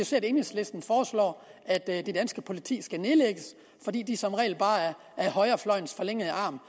se at enhedslisten foreslår at det danske politi skal nedlægges fordi de som regel bare er højrefløjens forlængede arm